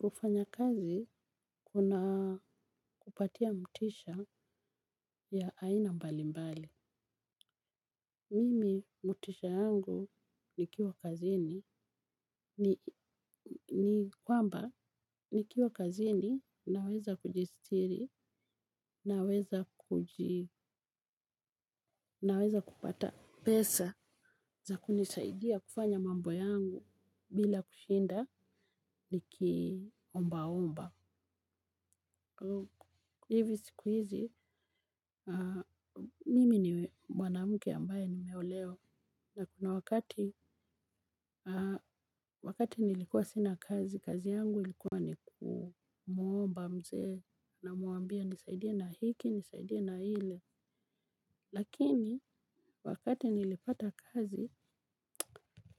Kufanya kazi kuna kupatia motisha ya aina mbali mbali. Mimi motisha yangu nikiwa kazini. Ni kwamba nikiwa kazini naweza kujisitiri naweza pata pesa za kunisaidia kufanya mambo yangu bila kushinda nikiombaomba. Hivi siku hizi, mimi ni wanamke ambaye nimeolewa, na kuna wakati, wakati nilikuwa sina kazi, kazi yangu ilikuwa ni kumuomba mzee, namuambia nisaidia na hiki, nisaidia na lile, lakini wakati nilipata kazi,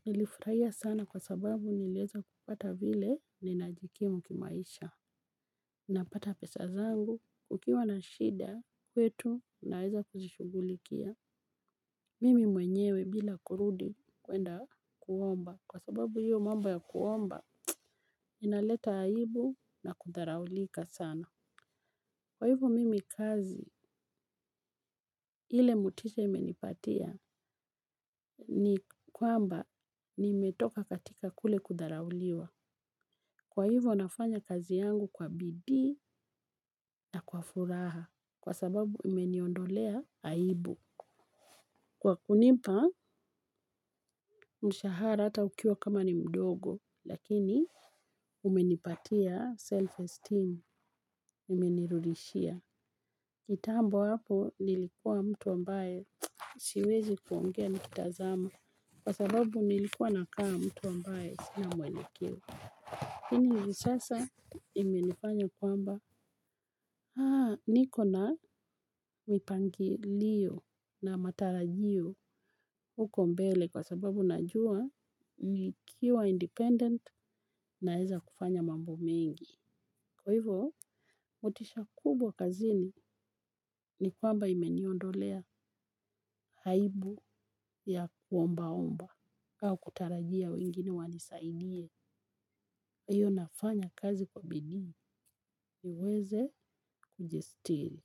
nilifurahia sana kwa sababu niliweza kupata vile ninajikimu kimaisha. Napata pesa zangu, kukiwa na shida kwetu naweza kuzishugulikia. Mimi mwenyewe bila kurudi kwenda kuomba. Kwa sababu hiyo mambo ya kuomba, inaleta aibu na kudharaulika sana. Kwa hivyo mimi kazi ile motisha imenipatia ni kwamba nimetoka katika kule kudharauliwa. Kwa hivyo nafanya kazi yangu kwa bidii na kwa furaha kwa sababu imeniondolea aibu. Kwa kunipa mshahara ata ukiwa kama ni mdogo lakini umenipatia self-esteem imenirudishia. Kitambo hapo nilikuwa mtu ambaye siwezi kuongea nikitazama kwa sababu nilikuwa nakaa mtu ambaye sina mwelekeo. Hivi sasa imenifanya kwamba niko na mipangilio na matarajio huko mbele kwa sababu najua nikiwa independent naeza kufanya mambo mengi. Kwa hivyo, motisha kubwa kazini ni kwamba imeniondolea aibu ya kuomba omba. Ka kutarajia wengine wanisaidie, hiyo nafanya kazi kwa bidii niweze kujisitiri.